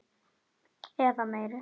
Eða meiri.